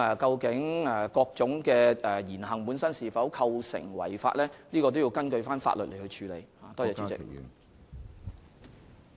至於某種言行本身會否構成違法，必須根據法律作出裁斷。